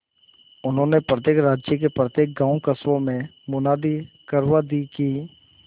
उन्होंने प्रत्येक राज्य के प्रत्येक गांवकस्बों में मुनादी करवा दी कि